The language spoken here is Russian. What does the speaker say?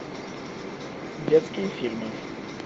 детские фильмы